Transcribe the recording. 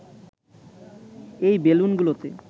এই বেলুনগুলোতে